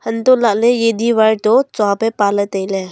hantoh lah ley e diwar toh tsua peh e pa ley tai ley.